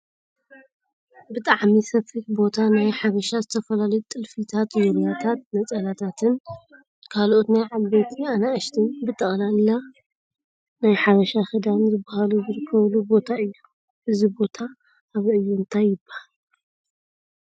ብጣዕሚ ሰፊሕ ቦታ ናይ ሓበሻ ዝተፈላለዩ ጥልፊታት፣ ዙርያታት፣ ነፀላታትን ካልኦትን ናይ ዓበይቲን ኣናእሽትን ብጠቅላላ ናይ ሓበሻ ክዳን ዝበሃሉ ዝርከበሉ ቦታ እዩ ። እዚ ቦታ ኣበይ እዩ ? እንታይ ይበሃል?